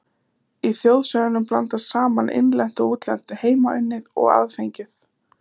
Í þjóðsögunum blandast saman innlent og útlent, heimaunnið og aðfengið.